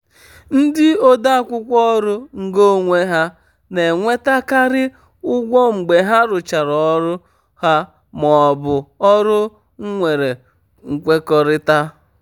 ndị ode akwụkwọ ọrụ ngo onwe ha na-enwetakarị ụgwọ mgbe ha rụchara ọrụ ha maọbụ ọrụ nwere nkwekọrịta.